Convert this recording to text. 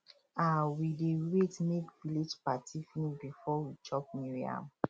um we dey wait make village party finish before we chop new yam